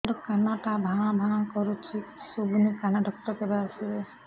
ମୋ କାନ ଟା ଭାଁ ଭାଁ କରୁଛି କିଛି ଶୁଭୁନି କାନ ଡକ୍ଟର କେବେ ଆସିବେ